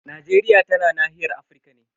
Najeriya tana nahiyar Afirka ne.